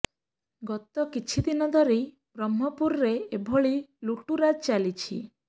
ଗତ କିଛି ଦିନ ଧରି ବ୍ରହ୍ମପୁରରେ ଏଭଳି ଲୁଟ୍ତରାଜ ଚାଲିଛି